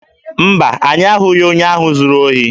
Mba, anyị ahụghị onye ahụ zuru ohi